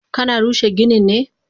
Kana rushe ginin ne?